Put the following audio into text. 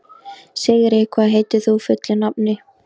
Sigri, hvað heitir þú fullu nafni?